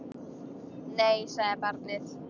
Nei, sagði barnið.